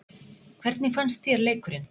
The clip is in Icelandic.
Hvernig fannst þér leikurinn?